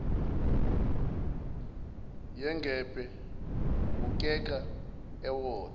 yengebhe ubukeka ewotha